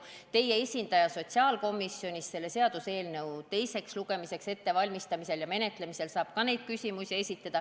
Ka teie esindaja sotsiaalkomisjonis saab selle seaduseelnõu teiseks lugemiseks ettevalmistamisel ja menetlemisel neid küsimusi esitada.